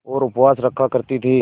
और उपवास रखा करती थीं